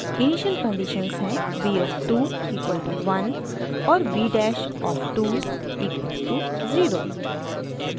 initial conditions हैं v of 2 equal to 1 और v dash of 2 equal to 0